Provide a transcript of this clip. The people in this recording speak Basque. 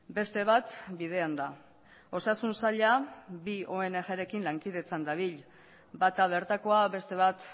beste bat bidean da osasun saila bi ongrekin lankidetzan dabil bata bertakoa beste bat